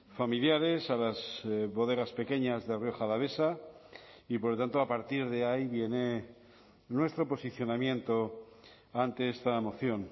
familiares a las bodegas pequeñas de rioja alavesa y por lo tanto a partir de ahí viene nuestro posicionamiento ante esta moción